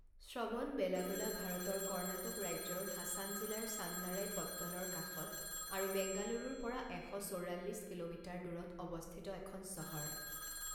শ্ৰৱণবেলাগোলা ভাৰতৰ কৰ্ণাটক ৰাজ্যৰ হাছান জিলাৰ চান্নাৰায়পট্টণৰ কাষত আৰু বেংগালুৰুৰ পৰা এশ চৌৰাল্লিছ কিলোমিটাৰ দূৰত অৱস্থিত এখন চহৰ।